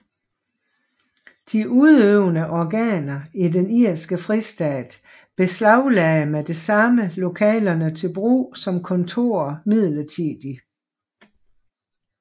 De udøvende organer i den irske fristat beslaglagde med det samme lokalerne til brug som kontorer midlertidigt